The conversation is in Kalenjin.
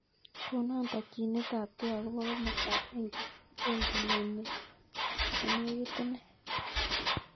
Konon tokyinetabge akoi komastab bengit nyun nenekit inei